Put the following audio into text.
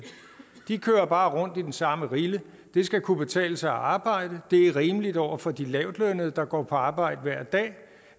de kører bare rundt i den samme rille det skal kunne betale sig at arbejde det er rimeligt over for de lavtlønnede der går på arbejde hver dag